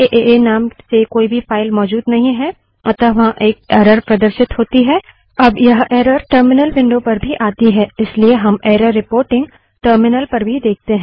अब एएए नाम से कोई भी फाइल मौजूद नहीं है अतः वहाँ एक एरर प्रदर्शित होती है अब यह एरर टर्मिनल विंडो पर भी आती है इसलिए हम एरर रिपोर्टिंग टर्मिनल पर भी देखते हैं